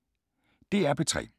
DR P3